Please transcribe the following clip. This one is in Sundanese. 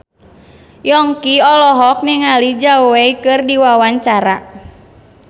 Yongki olohok ningali Zhao Wei keur diwawancara